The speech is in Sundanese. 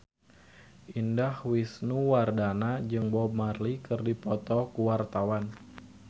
Indah Wisnuwardana jeung Bob Marley keur dipoto ku wartawan